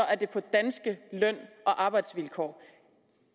er det på danske løn og arbejdsvilkår